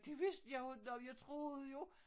Det vidste jeg jo nåh jeg troede jo